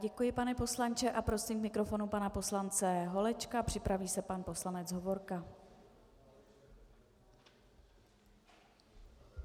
Děkuji, pane poslanče, a prosím k mikrofonu pana poslance Holečka, připraví se pan poslanec Hovorka.